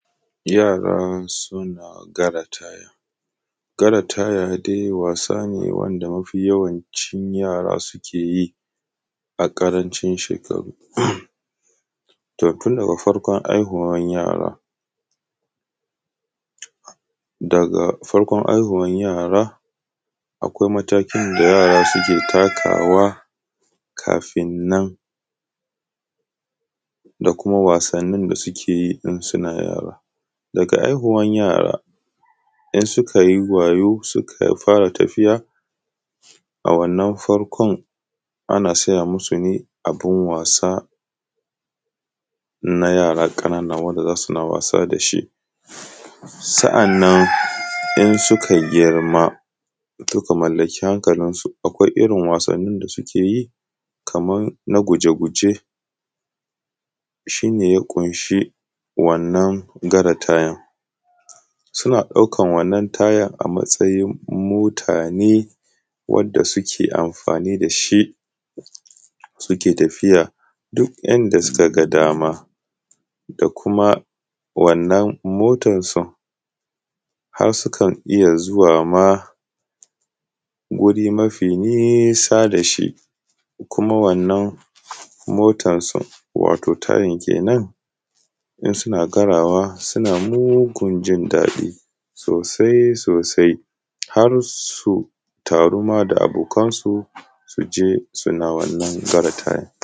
Yara suna gara taya. Gara taya dai wasa ne wanda mafi yawancin yara suke yi a ƙarancin shekaru. To tun daga farkon haihuwan yara, daga farkon aihuwan yara, akwai matakin da yara suke takawa kafin nan, da kuma wasannin da suke yi in suna yara. Daga aihuwan yara, in suka yi wayo suka fara tafiya, a wannan farkon ana siya musu ne abin wasa na yara ƙanana wanda za suna wasa da shi. Sa’annan in suka girma, suka mallaki hankalinsu, akwai irin wasannin da suke yi, kaman na guje-guje shi ne ya ƙunshi wannan gara tayan. Suna ɗaukan wannan tayan a matsayin motane, wadda suke amfani da shi suke tafiya duk inda suka ga dama, da kuma wannan motansu har sukan iya zuwa ma wuri mafi nisa da shi, kuma wannan motansu wato tayan kenan, in suna garawa suna mugun jindaɗi sosai-sosai har su taru ma da abokansu su je suna wannan gara tayan.